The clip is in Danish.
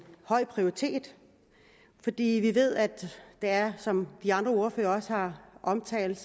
høj prioritet fordi vi ved at det er som de andre ordførere også har omtalt